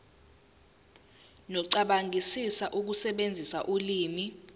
nokucabangisisa ukusebenzisa ulimi